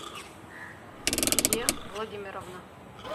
е владимировна